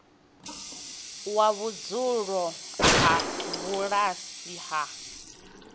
wa vhudzulo ha bulasi wa